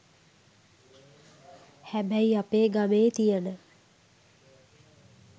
හැබැයි අපේ ගමේ තියෙන